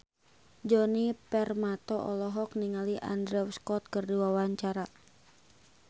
Djoni Permato olohok ningali Andrew Scott keur diwawancara